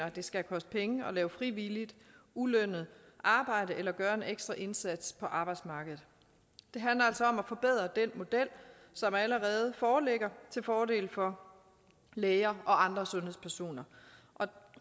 at det skal koste penge at lave frivilligt ulønnet arbejde eller at gøre en ekstra indsats på arbejdsmarkedet det handler altså om at forbedre den model som allerede foreligger til fordel for læger og andre sundhedspersoner